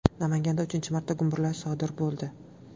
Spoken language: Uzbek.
Namanganda uchinchi marta gumburlash sodir bo‘ldi.